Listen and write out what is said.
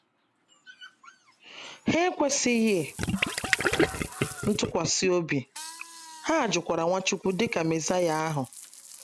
Ha ekwesịghị ntụkwasị obi, ha jụkwara Nwachukwu dị ka Mezaịa ahụ.